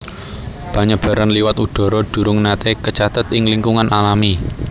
Panyebaran liwat udhara durung naté kacathet ing lingkungan alami